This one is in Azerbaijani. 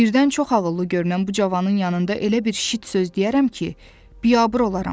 Birdən çox ağıllı görünən bu cavanın yanında elə bir şit söz deyərəm ki, biabır olaram.